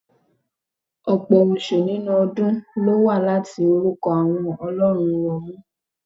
Ọ̀pọ̀ oṣù inú ọdún lówá láti orukọ àwọn ọlọ́run Rọ́ọ̀mù.